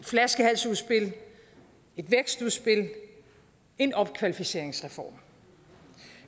flaskehalsudspil et vækstudspil og en opkvalificeringsreform